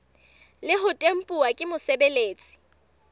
le ho tempuwa ke mosebeletsi